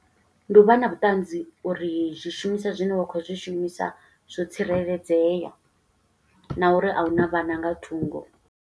Ndi u vha na vhuṱanzi uri zwishumiswa zwine wa khou zwi shumisa, zwo tsireledzea, na uri a huna vhana nga thungo.